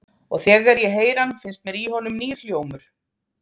Og þegar ég heyri hann finnst mér í honum nýr hljómur.